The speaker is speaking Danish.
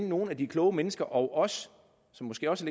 nogle af de kloge mennesker og os som måske også